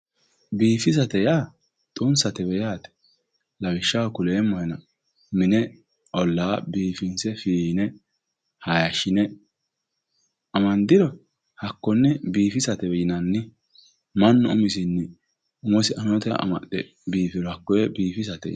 Biifisate yaa xunsate yaate lawishshaho kuleemmohenna mine olla fiine, hayishine amandiro hakkone biifisate yinnanni mannu umosi umisinni amaxe biifiro hakkoe biifisate yinnanni.